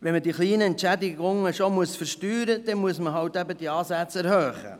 Wenn die kleinen Entschädigungen versteuert werden müssen, muss man die Ansätze erhöhen.